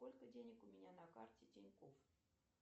сколько денег у меня на карте тинькофф